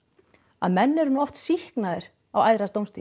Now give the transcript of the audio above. að menn eru nú oft sýknaðir á æðra dómstigi